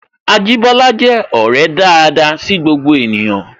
Ajibola je ọrẹ daada sí gbogbo ènìyàn